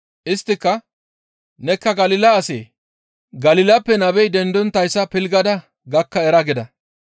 Isttika, «Nekka Galila asee? Galilappe nabey dendonttayssa pilggada gakka era» gida.